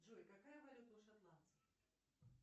джой какая валюта у шотландцев